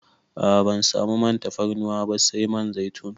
A a ban samu man tafarnuwar ba sai man zaitun.